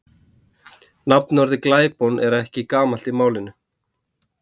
Nafnorðið glæpon er ekki gamalt í málinu.